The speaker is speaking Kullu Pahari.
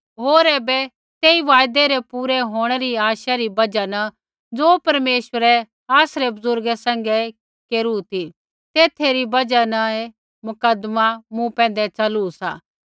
होर ऐबै तेई वायदै रै पूरै होंणै री आशै री बजहा न ज़ो परमेश्वरै आसरै बुज़ुर्गा सैंघै केरू ती तेथै री बजहा न ऐ मुकदमा मूँ पैंधै च़लू सा